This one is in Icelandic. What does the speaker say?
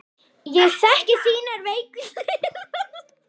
Ég þekki þínar veiku hliðar.